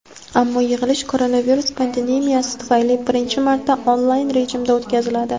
Ammo yig‘ilish koronavirus pandemiyasi tufayli birinchi marta onlayn rejimda o‘tkaziladi.